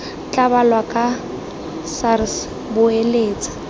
tla balwa ke sars boeletsa